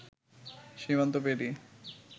সীমান্ত পেরিয়ে